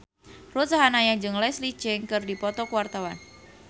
Ruth Sahanaya jeung Leslie Cheung keur dipoto ku wartawan